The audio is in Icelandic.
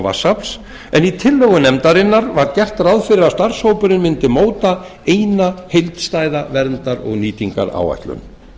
vatnsafls en í tillögu nefndarinnar var gert ráð fyrir að starfshópurinn mundi móta eina heildstæða verndar og nýtingaráætlun